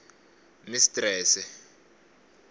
mistrese